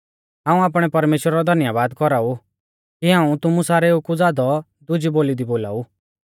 हाऊं आपणै परमेश्‍वरा रौ धन्यबाद कौराउ कि हाऊं तुमु सारेउ कु ज़ादौ दुजी बोली दी बोलाऊ